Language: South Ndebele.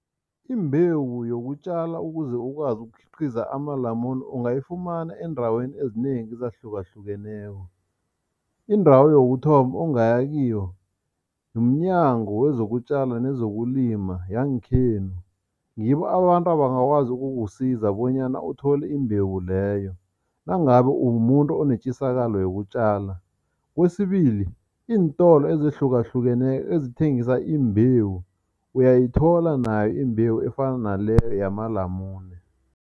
Imbewu yokutjala ukuze ukwazi ukukhiqiza amalamune, ungayifumana eendaweni ezinengi ezahlukahlukeneko. Indawo yokuthoma ongaya kiyo mNyango kwezokuTjala nezokuLima yangekhenu, ngibo abantu abangakwazi ukukusiza bonyana uthole imbewu leyo, nangabe umumuntu onetjisakalo yokutjala. Kwesibili, iintolo ezihlukahlukeneko ezithengisa imbewu uyayithola nayo imbewu efana naleyo yamalamune.